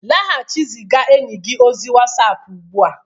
laghachi azụ ziga enyi gị ozi whatsapp ugbu a